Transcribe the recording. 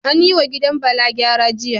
An yi wa gidan Bala gyara, jiya